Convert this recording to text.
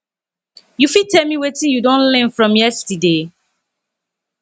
you fit tell me wetin you don learn from yesterday